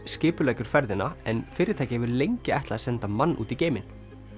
skipuleggur ferðina en fyrirtækið hefur lengi ætlað að senda mann út í geim